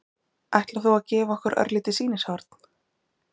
Ætlar þú að gefa okkur örlítið sýnishorn?